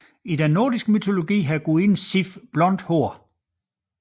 I den nordiske mytologi har gudinden Sif blondt hår